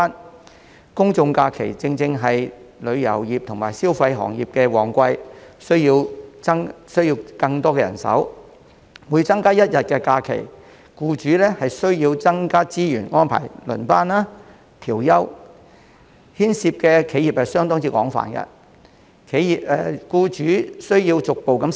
由於公眾假期正是旅遊業和消費行業的旺季，僱主需要更多人手，所以每增加一天假期，僱主便要增加資源以安排輪班、調休，牽涉的企業相當廣泛，僱主亦需要逐步適應。